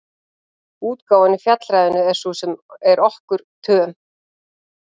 Útgáfan í Fjallræðunni er sú sem er okkur töm.